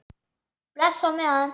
Bless á meðan.